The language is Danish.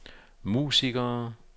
musikere